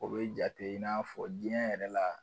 O bɛ jate i n'a fɔ diɲɛ yɛrɛ la